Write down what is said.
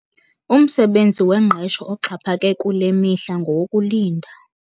Umsebenzi wengqesho oxhaphake kule mihla ngowokulinda.